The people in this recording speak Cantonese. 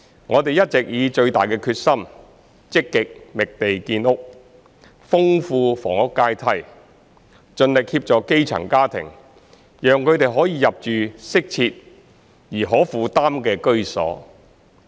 我們一直以最大的決心，積極覓地建屋，豐富房屋階梯，盡力協助基層家庭，讓他們可以入住適切而可負擔的居所。